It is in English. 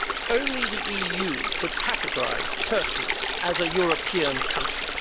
Only the EU could categorise Turkey as a European country!